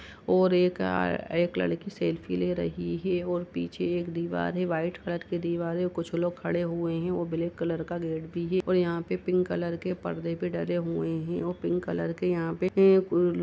और एक अ-अ एक लड़की सेल्फी ले रही है और पीछे एक दीवार है। व्हाइट कलर की दीवार है। कुछ लोग खड़े हुए हैं। ओ ब्लैक कलर का गेट भी है और यहाँ पे पिंक कलर के परदे भी डले हुए हैं। ओ पिंक कलर यहाँ पे --